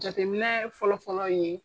Jateminɛ fɔlɔ fɔlɔ ye.